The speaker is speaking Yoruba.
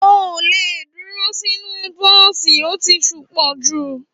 À òlẹ dúrò sinu bọ̀sí òtí súnpọ jú